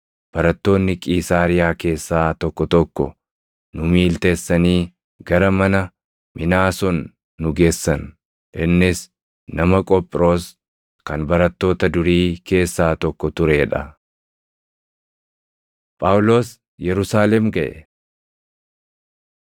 Barattoonni Qiisaariyaa keessaa tokko tokko nu miiltessanii gara mana Minaason nu geessan; innis nama Qophiroos kan barattoota durii keessaa tokko turee dha. Phaawulos Yerusaalem Gaʼe